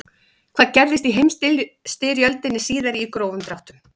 hvað gerðist í heimsstyrjöldinni síðari í grófum dráttum